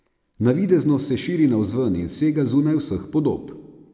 Navidezno se širi navzven in sega zunaj vseh podob.